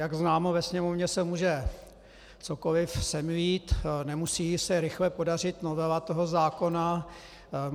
Jak známo, ve Sněmovně se může cokoli semlít, nemusí se rychle podařit novela toho zákona.